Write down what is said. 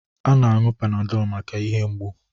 A na-aṅụ panadol maka ihe mgbụ.